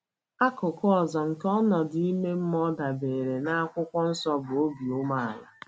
Akụkụ ọzọ nke ọnọdụ ime mmụọ dabeere na akwụkwọ nsọ bụ obi umeala.